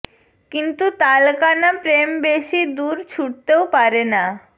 কিন্তু তালকানা প্রেম বেশি দূর ছুটতেও পারে না